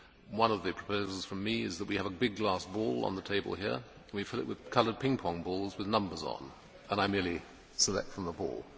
One of the proposals from me is that we have a big glass bowl on the table here and we fill it with coloured ping pong balls with numbers on, and I merely select from the bowl.